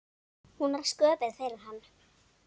Hún var sköpuð fyrir hann.